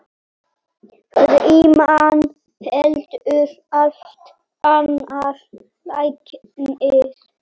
Frímann heldur allt annar læknir.